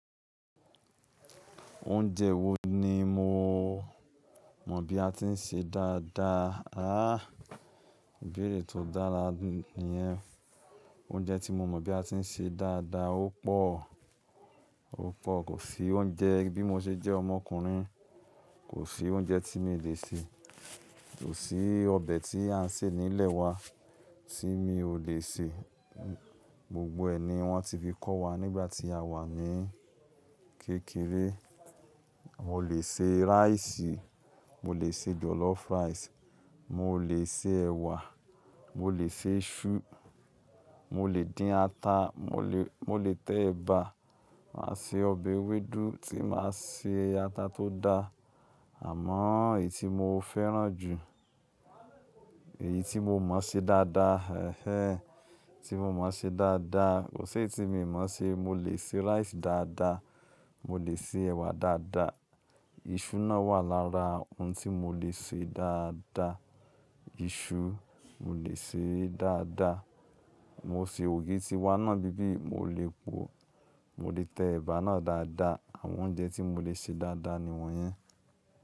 Oúnjẹ wo ni mo mọ bí a ti ń ṣe dáadáa? Áà! Ìbéèrè tó dára nìyẹn. Oúnjẹ tí mo mọ bí a ti ń ṣe dáadáa ó pọ̀, ó pọ̀. Kò sí oúnjẹ bí mo ṣe jẹ́ ọmọkùnrin, kò sí oúnjẹ tí mi ò lè ṣe. Kò sí ọbẹ̀ tí à ń sè nílé wa tí mi ò lè sè. Gbogbo ẹ̀ ni wọ́n ti fi kọ́ wa nígbà tí a wà ní kékeré. Mo lè ṣe rice, mo lè ṣe jollof rice, mo lè ṣe ẹ̀wà, mo lè ṣe iṣu, mo lè dín ata, mo lè, mo lè tẹ ẹ̀bà, màá se ọbẹ̀ ewédú tí màá ṣe ata tó dá. Àmọ́ èyí tí mo fẹ́ràn jù, èyí tí mo mọ̀ ṣe dáadáa, ẹ̀ẹ́, tí mo mọ̀ ṣe dáadáa kò sí ẹni tí mi mọ̀ ṣe. Mo lè ṣe rice dáadáa, mo lè ṣe ẹ̀wà dáadáa. Iṣu náà wà lára ohun tí mo lè ṣe dáadáa. Iṣu, mo lè sè é dáadáa. Mo sè ògì tí wá ná bíbí, mo lè po, mo lè tẹ ẹ̀bà náà dáadáa. Àwọn oúnjẹ tí mo lè ṣe dáadáa ni wọ́n yẹn.